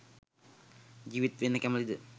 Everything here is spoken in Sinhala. ජීවත් වෙන්න කැමතිද?